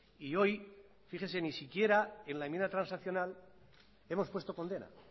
y hoy fíjense ni siquiera en la enmienda transaccional hemos puesto condena